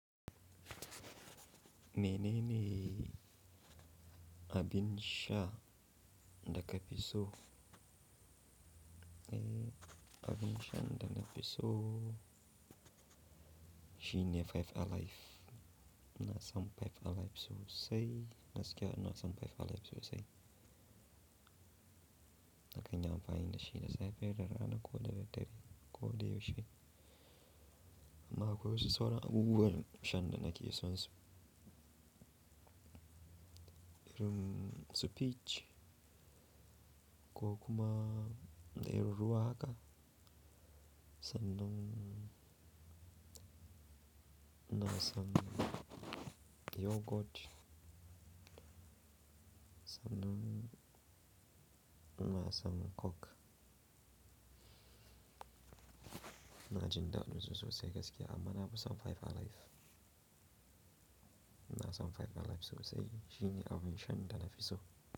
Mene ne abin sha da ka fi so? Eh, abin sha da na fi so shine Five Alive. Ina son Five Alive sosai. Gaskiya ina son Five Alive sosai. Na kan yi amfani da shi da safiya da rana ko daddare ko da yaushe. Amma akwai wasu sauran abubuwan shan da nake son su. Irin su peach ko kuma da irin ruwa haka. Sanan ina son yogurt. Sanan ina son coke. Ina jin daɗin su sosai gaskiya amma na fi son Five Alive. Ina son Five Alive sosai shine abin sha da na fi so.